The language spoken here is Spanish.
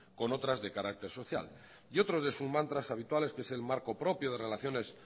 con otras de carácter social y otro de sus mantras habituales que es el marco propio de relaciones